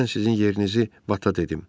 Mən sizin yerinizi bataq etdim.